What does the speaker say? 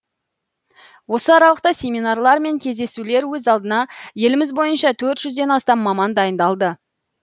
осы аралықта семинарлар мен кездесулер өз алдына еліміз бойынша төрт жүзден астам маман дайындалды